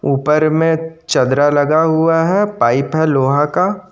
ऊपर में चद्रा लगा हुआ है पाइप है लोहा का।